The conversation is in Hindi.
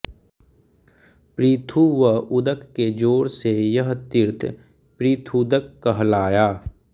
पृथु व उदक के जोड़ से यह तीर्थ पृथूदक कहलाया